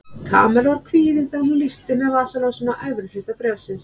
Kamilla var kvíðin þegar hún lýsti með vasaljósinu á efri hluta bréfsins.